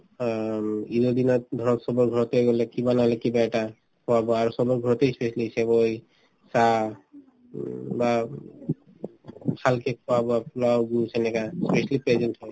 হয় হয় উম ঈদৰ দিনত ধৰক চবৰ ঘৰতে গলে কিবা নহলে কিবা এটা খোৱা-বোৱা আৰু চবৰ ঘৰতে ই specially চেৱাই চাহ উম বা খোৱা-বোৱা পোলাও juice সেনেকা specially present হয়